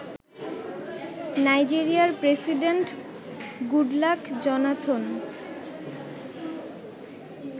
নাইজেরিয়ার president Goodluck Jonathan